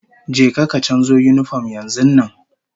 Je ka ka canzo yinifom yanzun nan!